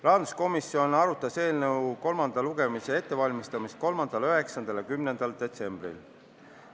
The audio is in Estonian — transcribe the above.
Rahanduskomisjon valmistas eelnõu kolmandat lugemist ette 3., 9. ja 10. detsembril.